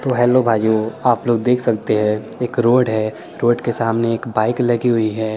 तो हेल्लो भाइयो आप लोग देख सकते है ये करवट है रोड के सामने एक बाइक लगी हुई है ।